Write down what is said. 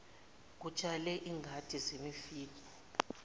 kutshalwe izingadi zemifino